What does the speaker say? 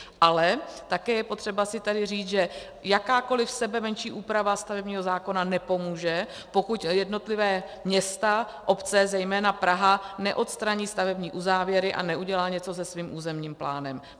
Ale také je potřeba si tady říct, že jakákoliv sebemenší úprava stavebního zákona nepomůže, pokud jednotlivá města, obce, zejména Praha, neodstraní stavební uzávěry a neudělá něco se svým územním plánem.